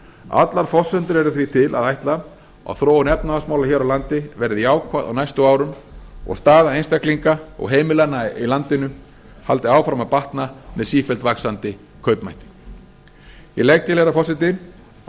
allar forsendur eru því til að ætla að þróun efnahagsmála hér á landi verði jákvæð á næstu árum og staða einstaklinga og heimilanna í landinu haldi áfram að batna með sífellt vaxandi kaupmætti ég legg til herra forseti að